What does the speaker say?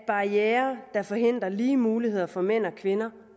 barrierer der forhindrer lige muligheder for mænd og kvinder